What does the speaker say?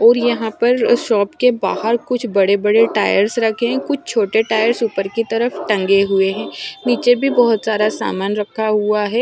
और यहां पर शॉप के बाहर कुछ बड़े बड़े टायर्स रखें कुछ छोटे टायर उपर की तरफ टंगे हुए है नीचे भी बहोत सारा सामान रखा हुआ है।